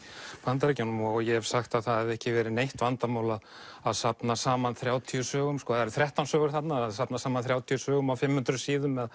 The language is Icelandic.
Bandaríkjunum ég hef sagt að það hefði ekki verið neitt vandamál að safna saman þrjátíu sögum það eru þrettán sögur þarna að safna saman þrjátíu sögum á fimm hundruð síðum